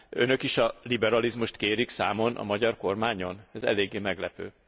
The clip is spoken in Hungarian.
Önök is a liberalizmust kérik számon a magyar kormányon? Ez eléggé meglepő!